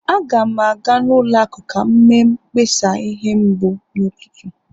Aga m aga ụlọ akụ ka m mee mkpesa ihe mbụ n'ụtụtụ